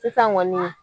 Sisan kɔni